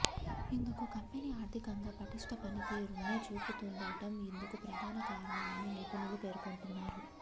ఇందుకు కంపెనీ ఆర్థికంగా పటిష్ట పనితీరును చూపుతుండటం ఇందుకు ప్రధాన కారణమని నిపుణులు పేర్కొంటున్నారు